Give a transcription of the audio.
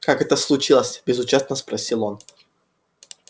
как это случилось безучастно спросил он